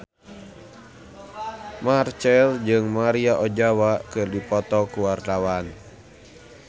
Marchell jeung Maria Ozawa keur dipoto ku wartawan